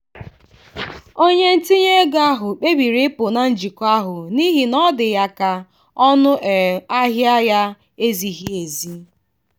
onye ntinye ego ahụ kpebiri ịpụ na njikọ ahụ n'ihi na ọ dị ya ka ọnụ um ahịa ya ezighị ezi.